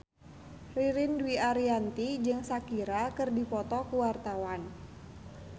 Ririn Dwi Ariyanti jeung Shakira keur dipoto ku wartawan